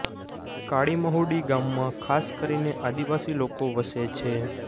કાળિમહુડી ગામમાં ખાસ કરીને આદિવાસી લોકો વસે છે